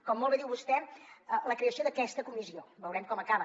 com molt bé diu vostè la creació d’aquesta comissió veurem com acaba